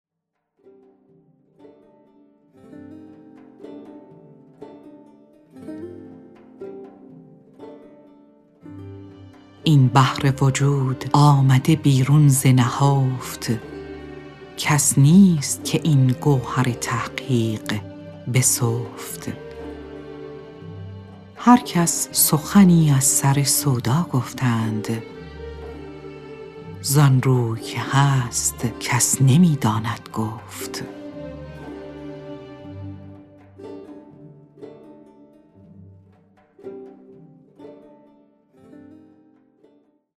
این بحر وجود آمده بیرون ز نهفت کس نیست که این گوهر تحقیق بسفت هر کس سخنی از سر سودا گفتند ز آن روی که هست کس نمی داند گفت